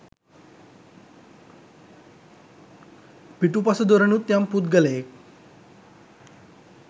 පිටුපස දොරෙනුත් යම් පුද්ගලයෙක්